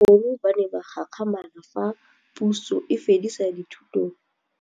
Bagolo ba ne ba gakgamala fa Pusô e fedisa thutô ya Bodumedi kwa dikolong.